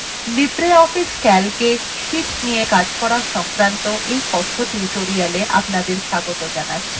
libreoffice calcএ sheets নিয়ে calc করা সংক্রান্ত কথ্য tutorialএ স্বাগত